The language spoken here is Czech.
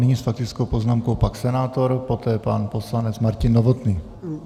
Nyní s faktickou poznámkou pan senátor, poté pan poslanec Martin Novotný.